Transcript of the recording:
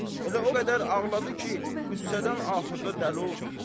Elə o qədər ağladı ki, qüssədən axırda dəli oldu.